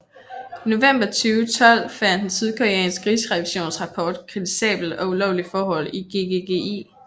I november 2012 fandt en sydkoreansk rigsrevisionsrapport kritisable og ulovlige forhold i GGGI